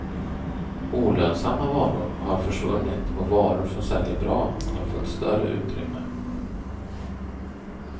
Olönsamma varor har försvunnit och varor som säljer bra har fått större utrymme.